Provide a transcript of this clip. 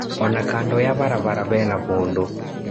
Ona kando ya barabara hena mũndũ.